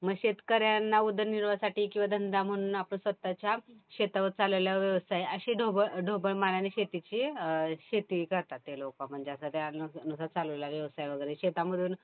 मग शेतकऱ्यांना उदरनिर्वाहासाठी किंवा धंदा म्हणून आपण स्वतःच्या शेतावर चालवलेला व्यवसाय अशी ढोबळ मानाने शेतीची शेती करतात ते लोकं. म्हणजे आता चालवलेला व्यवसाय वगैरे शेतामधून.